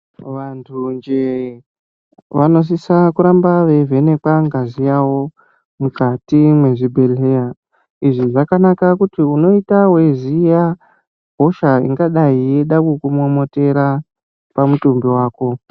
Vantu nje vanosisa kuramba veivhenekwa ngazi yawo mukati mezvibhedhlera izvi zvakanaka ngekuti unoita weiziya hosha inoda kukumomotera pamutumbi wako.